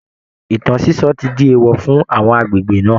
Ìtàn sísọ ti di èèwọ̀ fún àwọn agbègbè náà